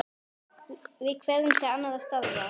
Við hverfum til annarra starfa.